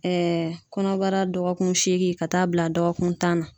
kɔnɔbara dɔgɔkun seegin ka taa bila dɔgɔkun tan na.